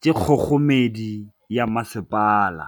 ke kgogomedi ya masepala.